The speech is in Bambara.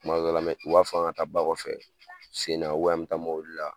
tuma dɔw la b'a fɔ an ka taa ba kɔfɛ sen na walima an bɛ taa mobili la